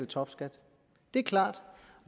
topskat det er klart